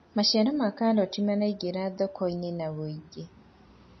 maciaro ma karoti maraingira thoko-inĩ na wũingi